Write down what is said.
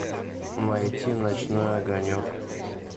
найти ночной огонек